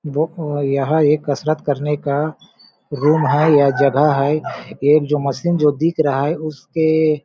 दोखो यह एक कसरत करने का रूम है या जगह है एक जो मशीन जो दिख रहा है उसके--